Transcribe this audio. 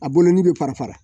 A bolo ni bɛ fara fara